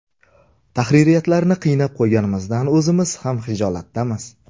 Tahririyatlarni qiynab qo‘yganimizdan o‘zimiz ham xijolatdamiz”.